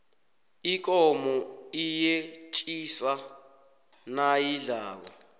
ikomo iyetjisa nayidlako